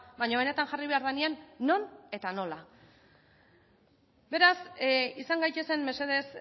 baina benetan jarri behar denean non eta nola beraz izan gaitezen mesedez